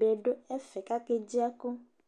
bɩ dʊ ɛfɛ kedzi ɛkʊ